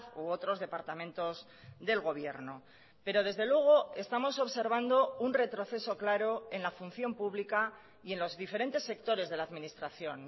u otros departamentos del gobierno pero desde luego estamos observando un retroceso claro en la función pública y en los diferentes sectores de la administración